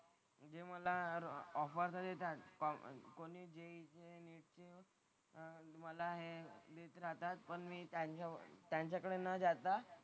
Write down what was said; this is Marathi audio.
ते मला ऑफर तर देतात कि कॉमर्स कोणी जे अह मला हे देत राहतात पण मी त्यांच्या त्यांच्याकडे न जाता,